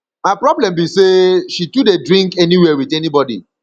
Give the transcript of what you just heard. my problem be say she too dey drink anywhere with anybody